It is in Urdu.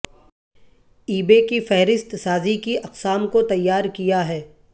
ای بے کی فہرست سازی کی اقسام کو تیار کیا ہے